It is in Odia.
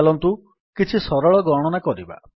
ଚାଲନ୍ତୁ କିଛି ସରଳ ଗଣନା କରିବା